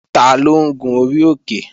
Taló ń gun orí òkè?